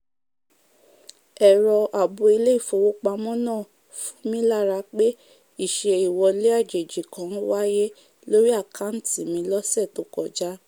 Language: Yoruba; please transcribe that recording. ẹ̀rọ ààbò ilé-ìfowópamọ́ náà fun mí lára pé ìṣe ìwọlé àjèjì kan wáyé lórí àkántì mi lọsẹ̀ tó kọjá